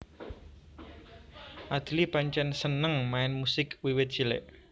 Adly pancèn seneng main musik wiwit cilik